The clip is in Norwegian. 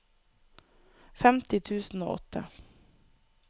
femti tusen og åtte